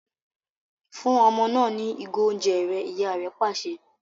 Fún ọmọ náà ní igo oúnjẹ rẹ! ìyá rẹ pàṣẹ